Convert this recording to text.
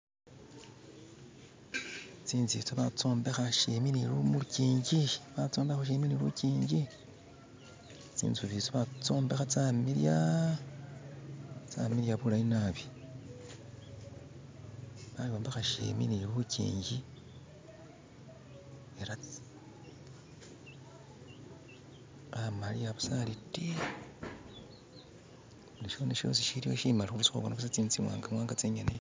Tsinzu itsi batsombeha shimbi ni muluchinji batsombeha shimbi ni luchinji tsintzu itsi batsombeha tsamiliya, tsamiliya bulayi naabi bayombeha shimbi ni luchinji ela amaliya busa ali tii ni shindu shosi shiliho shimali hurusaho hubona tsintsu tsimwanga-mwanga tsonyene